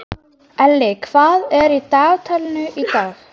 Elli, hvað er í dagatalinu í dag?